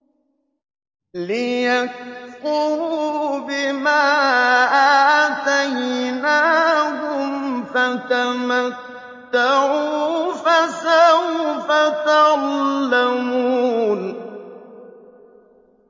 لِيَكْفُرُوا بِمَا آتَيْنَاهُمْ ۚ فَتَمَتَّعُوا فَسَوْفَ تَعْلَمُونَ